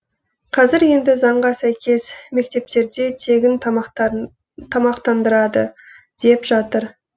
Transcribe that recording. қазір енді заңға сәйкес мектептерде тегін тамақтандырады деп жатыр